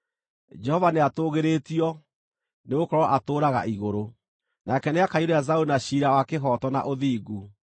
Jehova nĩatũũgĩrĩtio, nĩgũkorwo atũũraga igũrũ; nake nĩakaiyũria Zayuni na ciira wa kĩhooto na ũthingu.